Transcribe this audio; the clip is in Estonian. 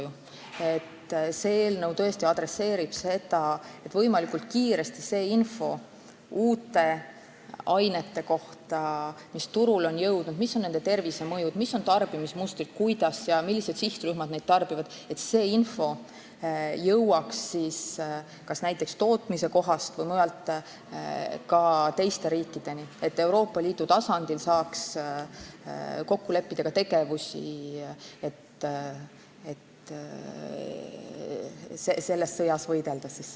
See eelnõu adresseerib tõesti seda, et näiteks tootmise kohast või mujalt jõuaks ka teiste riikideni võimalikult kiiresti info uute ainete kohta, mis on turule jõudnud, millised on nende tervisemõjud ja tarbimismustrid, kuidas ja millised sihtrühmad neid tarbivad, et Euroopa Liidu tasandil saaks kokku leppida tegevusi selles sõjas võitlemiseks.